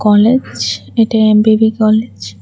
College এটা M B B college.